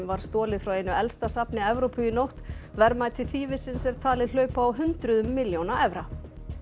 var stolið frá einu elsta safni Evrópu í nótt verðmæti þýfisins er talið hlaupa á hundruðum milljóna evra